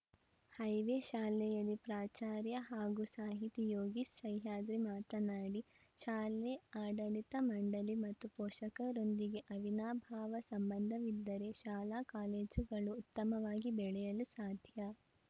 highway ಶಾಲೆಯ ಪ್ರಾಚಾರ್ಯ ಹಾಗೂ ಸಾಹಿತಿ ಯೋಗೇಶ್‌ ಸಹ್ಯಾದ್ರಿ ಮಾತನಾಡಿ ಶಾಲೆ ಆಡಳಿ ಮಂಡಳಿ ಮತ್ತು ಪೋಷಕರೊಂದಿಗೆ ಅವಿನಾಭಾವ ಸಂಬಂಧವಿದ್ದರೆ ಶಾಲಾ ಕಾಲೇಜುಗಳು ಉತ್ತಮವಾಗಿ ಬೆಳೆಯಲು ಸಾಧ್ಯ